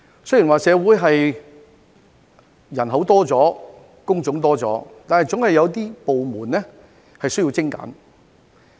雖然社會人口增多了、工種增多了，但總有一些部門需要精簡。